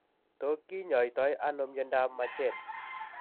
To kinyaaytano myondap majeed?